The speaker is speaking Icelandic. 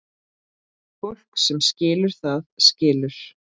Fólk sem skilur, það skilur.